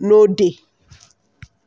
no dey.